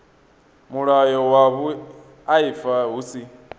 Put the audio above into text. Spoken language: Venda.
mulayo wa vhuaifa hu si